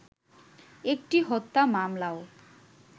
একটি হত্যা মামলাও